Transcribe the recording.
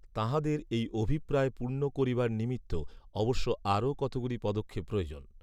তাঁহাদের এই অভিপ্রায় পূর্ণ করিবার নিমিত্ত অবশ্য আরও কতগুলি পদক্ষেপ প্রয়োজন